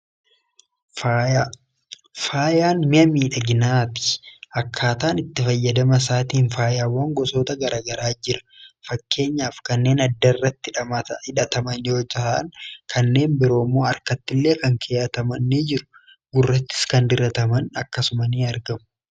faayaan mi'a miidhaginaati. Akkaataa itti fayyadama isaatiin faayyaawwan gosoota garaa garaatu jira. Fakkeenyaaf kanneen adda irratti hidhataman yoo ta'an kanneen biroon immoo harkatti illee kan keeyataman ni jiru. Gurrattis kan dirataman akkasuma ni argamu.